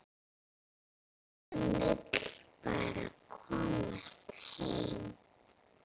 Hann vill bara komast heim.